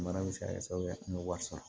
Mara bɛ se ka kɛ sababu ye an bɛ wari sɔrɔ